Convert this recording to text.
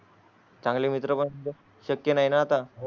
चांगले मित्र शक्य नाहीं आतां